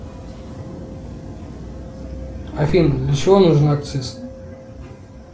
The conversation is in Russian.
афина для чего нужен акциз